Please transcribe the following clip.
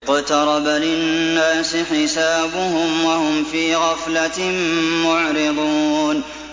اقْتَرَبَ لِلنَّاسِ حِسَابُهُمْ وَهُمْ فِي غَفْلَةٍ مُّعْرِضُونَ